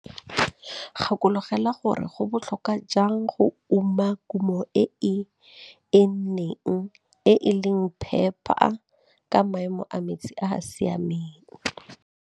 Gakologelwa gore go botlhokwa jang go uma kumo e e enneng, e e leng phepa ka maemo a metsi a a siameng.